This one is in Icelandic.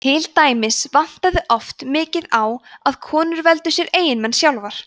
til dæmis vantaði oft mikið á að konur veldu sér eiginmenn sjálfar